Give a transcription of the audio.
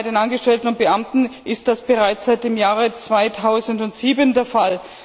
Bei den Angestellten und Beamten ist das bereits seit dem Jahr 2007 der Fall.